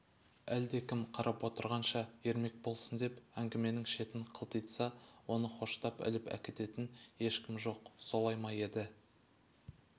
әлдекім қарап отырғанша ермек болсын деп әңгіменің шетін қылтитса оны хоштап іліп әкететін ешкім жоқ солай ма еді